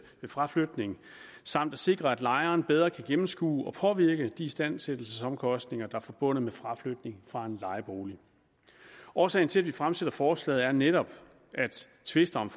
ved fraflytning samt at sikre at lejeren bedre kan gennemskue og påvirke de istandsættelsesomkostninger er forbundet med fraflytning fra en lejebolig årsagen til at vi fremsætter forslaget er netop at tvister om